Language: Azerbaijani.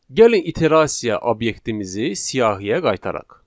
Gəlin iterasiya obyektimizi siyahiyə qaytaraq.